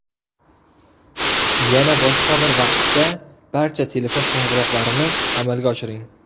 Yana boshqa bir vaqtda barcha telefon qo‘ng‘iroqlarini amalga oshiring.